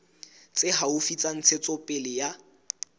tse haufi tsa ntshetsopele ya